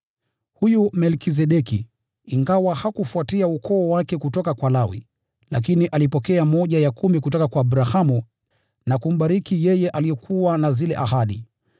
Huyu Melkizedeki, ingawa hakufuatia ukoo wake kutoka kwa Lawi, lakini alipokea sehemu ya kumi kutoka kwa Abrahamu na kumbariki yeye aliyekuwa na zile ahadi.